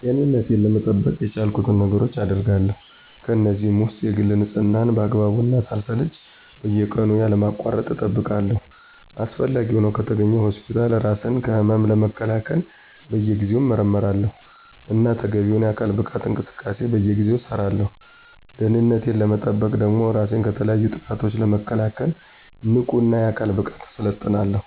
ጤንነቴን ለመጠበቅ የቻልኩትን ነገሮች አገርጋለሁ። ከእነዚህም ውስጥ የግል ንፅህናየን በአግባቡ እና ሳልሰለች በየቀኑ ያለማቋረጥ እጠብቃለሁ። አስፈላጊ ሆኖ ከተገኘ ሆስፒታል እራስ ከህመም ለመከላከል በየጊዜው እመረመራለሁ። እና ተገቢውን የአካል ብቃት እንቅስቃሴ በየጊዜው እሠራለሁ። ደህንነቴን ለመጠበቅ ደግሞ እራሴን ከተለያዩ ጥቃቶች ለመከላከል ንቁ እና የአካል ብቃት እሠለጥናለሁ።